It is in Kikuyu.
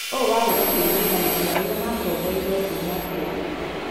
ũũ warĩ takĩririkano kĩa ũrĩa makomborirwa kuma ũkombo.